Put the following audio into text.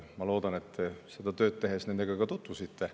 Ma loodan, et te seda tööd tehes nendega ka tutvusite.